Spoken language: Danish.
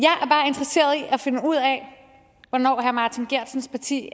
at finde ud af hvornår herre martin geertsens parti